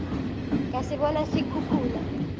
ka se bona se khukhuna